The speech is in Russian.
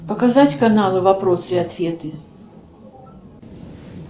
показать каналы вопросы и ответы